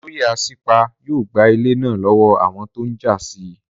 Olóyè Asípa yóò gba ilẹ̀ náà lọ́wọ́ àwọn tó n jà sí